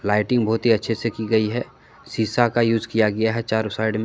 Lighting बहुत ही अच्छे से की गयी है शीशा का यूज़ किया गया है चारों साइड में।